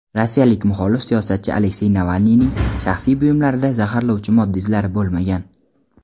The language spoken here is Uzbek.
Rossiyalik muxolif siyosatchi Aleksey Navalniyning shaxsiy buyumlarida zaharlovchi modda izlari bo‘lmagan.